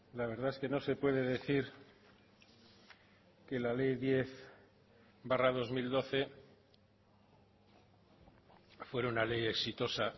la verdad es que no se puede decir que la ley diez barra dos mil doce fuera una ley exitosa